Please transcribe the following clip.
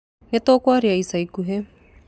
Nĩtũkũaria ica ikuhĩ